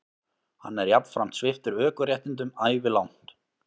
Hann er jafnframt sviptur ökuréttindum ævilangt